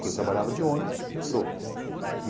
que eu trabalhava de ônibus, metrô.